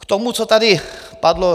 K tomu, co tady padlo.